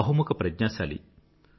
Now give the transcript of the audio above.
బహుముఖ ప్రజ్ఞాశాలి